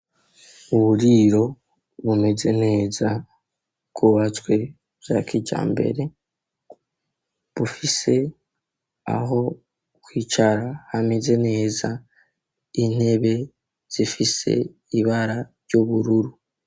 Uburiro bumeze neza bkubatswe byakijya mbere bufise aho kwicara hameze neza intebe zifise ibara ry'ubururu.